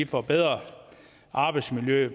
forbedrer arbejdsmiljøet